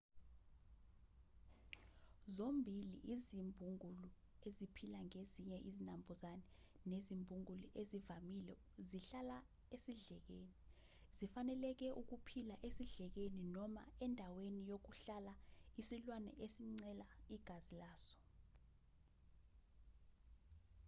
zombili izimbungulu eziphila ngezinye izinambuzane nezimbungulu ezivamile zihlala esidlekeni zifanelekele ukuphila esidlekeni noma endaweni yokuhlala yesilwane ezincela igazi laso